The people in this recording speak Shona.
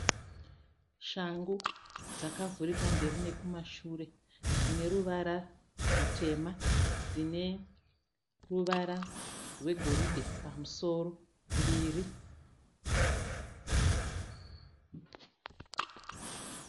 Shangu dzakavhurika mberi nekumashure. Dzine ruvara rutema. Dzine ruvara rwegoridhe pamusoro, mbiri.